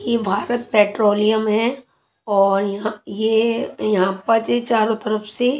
ये भारत पेट्रोलियम है और यहां ये यहां पा जे चारो तरफ से--